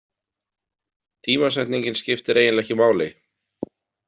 Tímasetningin skiptir eiginlega ekki máli.